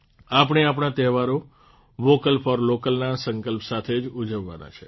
આપણે આપણા તહેવારો વોકલ ફોર લોકલના સંકલ્પ સાથે જ ઉજવવાના છે